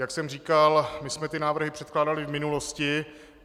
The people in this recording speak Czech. Jak jsem říkal, my jsme ty návrhy předkládali v minulosti.